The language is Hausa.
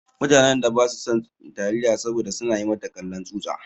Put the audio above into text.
Mutanen da ba su san taliya saboda su na yi mata kallon tsutsa.